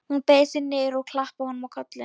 Hún beygði sig niður og klappaði honum á kollinn.